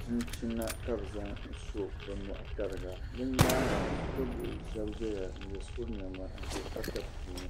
chinchina ka bɛ zaŋ so bɛ nyɔɣini tariga.bɛ. nyaaŋa shikuru bihi shabi ʒaya n ye shikuru nema n ʒɛ pata puuni